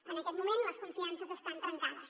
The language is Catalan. en aquest moment les confiances estan trencades